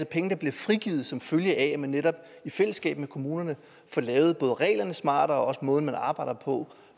penge der bliver frigivet som følge af at man netop i fællesskab med kommunerne får lavet både reglerne smartere og også måden som der arbejdes på